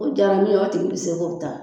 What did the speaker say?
O jara min ye o tigi be se k'o ta